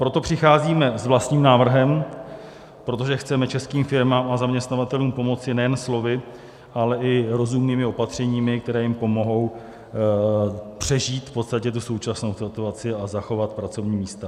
Proto přicházíme s vlastním návrhem, protože chceme českým firmám a zaměstnavatelům pomoci nejen slovy, ale i rozumnými opatřeními, která jim pomohou přežít v podstatě tu současnou situaci a zachovat pracovní místa.